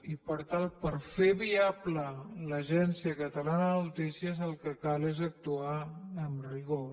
i per tant per fer viable l’agència catalana de notícies el que cal és actuar amb rigor